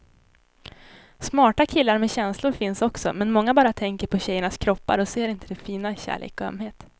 Smarta killar med känslor finns också, men många bara tänker på tjejernas kroppar och ser inte det fina i kärlek och ömhet.